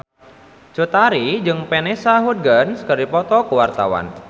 Cut Tari jeung Vanessa Hudgens keur dipoto ku wartawan